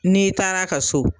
N'i taara ka so